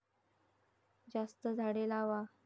जास्त झाडे लावा.